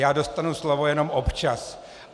Já dostanu slovo jenom občas.